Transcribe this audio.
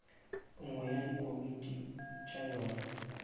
nngwe ya dikomiti tša yona